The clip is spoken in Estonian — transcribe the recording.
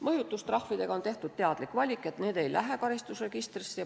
Mõjutustrahvidega on tehtud teadlik valik, et need ei lähe karistusregistrisse.